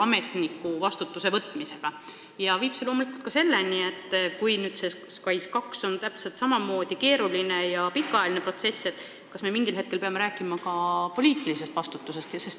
See viib loomulikult selle mõtteni, et kui SKAIS2 arendus on sama keeruline ja pikaajaline protsess, siis kas me ei peaks mingil hetkel rääkima ka poliitilisest vastutusest.